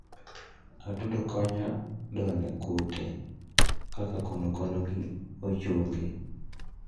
atudo konyo kdone kute kaka konokono gi ochunge